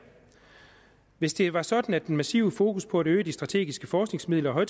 hvis det var sådan at det massive fokus på at øge de strategiske forskningsmidler og